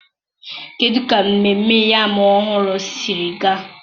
kedụ ka mmemme yam ọhụrụ siri gaa?